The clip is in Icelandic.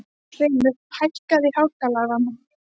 Hreimur, hækkaðu í hátalaranum.